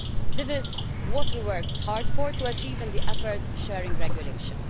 This is what we worked hard to achieve in the effort sharing regulation.